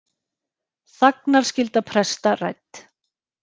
Þagnarskylda presta rædd